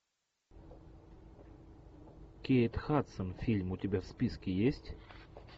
кейт хадсон фильм у тебя в списке есть